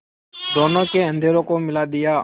दोनों के अधरों को मिला दिया